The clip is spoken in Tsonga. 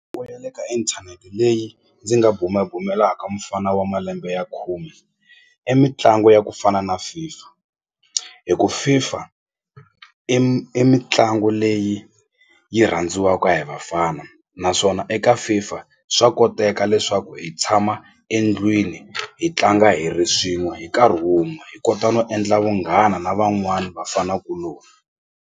ya le ka inthanete leyi ndzi nga bumabumelaka mufana wa malembe ya khume i mitlangu ya ku fana na FIFA hi ku FIFA i i mitlangu leyi yi rhandziwaka hi vafana naswona eka FIFA swa koteka leswaku hi tshama endlwini hi tlanga hi ri swin'we hi nkarhi wun'we hi kota no endla vunghana na van'wanai vafana kuloni.